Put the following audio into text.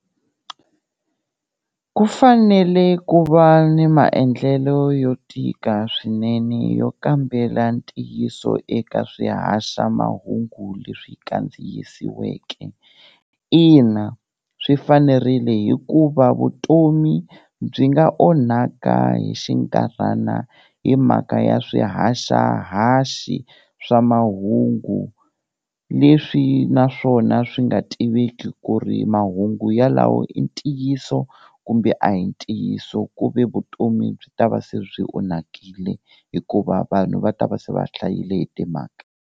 Ku fanele ku va ni maendlelo yo tika swinene yo kambela ntiyiso eka swihaxamahungu leswi kandziyisiweke, ina swi fanerile hikuva vutomi byi nga onhaka hi xinkarhana hi mhaka ya swihaxahaxi swa mahungu leswi naswona swi nga tiveki ku ri mahungu yalawo i ntiyiso kumbe a hi ntiyiso ku ve vutomi byi ta va se byi onhakile hikuva vanhu va ta va se va hlayile hi timhaka.